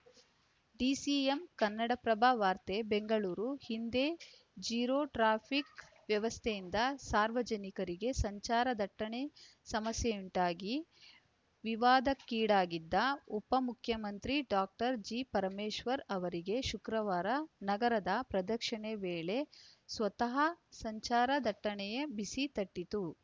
DCM Kannadaprabha ವಾರ್ತೆ ಬೆಂಗಳೂರು ಹಿಂದೆ zero traffic ವ್ಯವಸ್ಥೆಯಿಂದ ಸಾರ್ವಜನಿಕರಿಗೆ ಸಂಚಾರ ದಟ್ಟಣೆ ಸಮಸ್ಯೆಯುಂಟಾಗಿ ವಿವಾದಕ್ಕೀಡಾಗಿದ್ದ ಉಪಮುಖ್ಯಮಂತ್ರಿ ಡಾಕ್ಟರ್ ಜಿಪರಮೇಶ್ವರ್‌ ಅವರಿಗೆ ಶುಕ್ರವಾರ ನಗರ ಪ್ರದಕ್ಷಿಣೆ ವೇಳೆ ಸ್ವತಃ ಸಂಚಾರ ದಟ್ಟಣೆಯ ಬಿಸಿ ತಟ್ಟಿತು